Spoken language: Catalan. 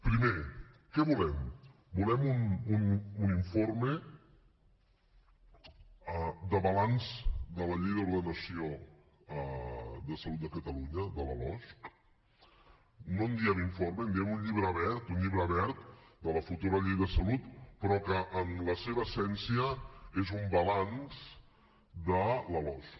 primer què volem volem un informe de balanç de la llei d’ordenació de salut de catalunya de la losc no en diem informe en diem un llibre verd un llibre verd de la futura llei de salut però que en la seva essència és un balanç de la losc